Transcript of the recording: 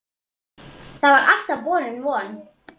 Það var alltaf borin von